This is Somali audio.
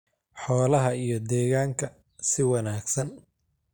xoolaha iyo deegaanka si wanaagsan.